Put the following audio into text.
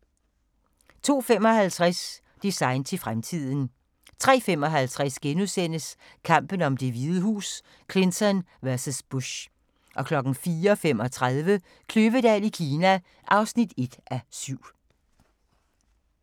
02:55: Design til fremtiden 03:55: Kampen om Det Hvide Hus: Clinton vs. Bush * 04:35: Kløvedal i Kina (1:7)